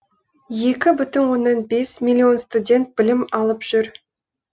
екі бүтін оннан бес миллион студент білім алып жүр